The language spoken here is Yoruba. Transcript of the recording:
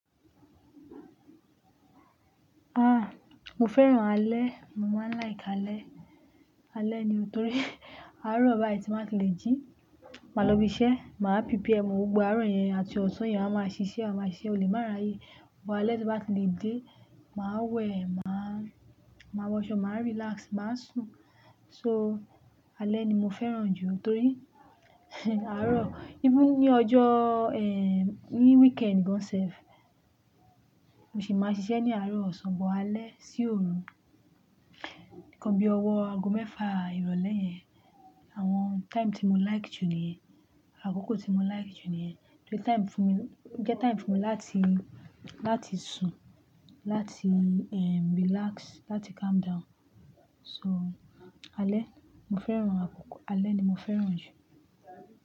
Ah, mo fẹ́ràn alẹ́. Mo máa ń like alẹ́. Alẹ́ ni torí àárọ̀ báyìí tí máa ti le jí, màá lọ ibi iṣẹ́, màá prepare ọmọ, gbogbo àárọ̀ yẹn àti ọ̀san yẹn a máa ṣiṣẹ́, a máa ṣiṣẹ́ olè máa ráyè. Ọ̀pọ̀ alẹ́ tí bá ti lè dé, màá wẹ̀, màá, màá wọṣọ, màá relax, màá sùn. So alẹ́ ni mo fẹ́ràn jù torí àárọ̀. Even ní ọjọ́, eh, ní weekend gan self, mo sì máa ṣiṣẹ́ ní àárọ̀, osan bọ alẹ́ sí òru. Kan bí owó ago mẹ́fà ìrọ̀lẹ́ yẹn. Àwọn time tí mo like jù nìyẹn. Àkókò tí mo like jù nìyẹn. Torí time fún mi, jẹ́ time fún mi láti, láti sùn, láti, eh, relax, láti calm down. So alẹ́, mo fẹ́ràn àkókò alẹ́ ni mo fẹ́ràn jù.